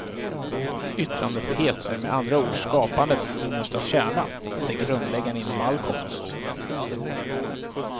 Yttrandefrihet är med andra ord skapandets innersta kärna, det grundläggande inom all konst.